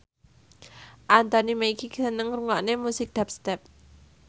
Anthony Mackie seneng ngrungokne musik dubstep